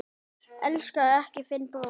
Elskaðu ekki þinn bróður.